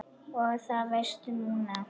Og það veistu núna.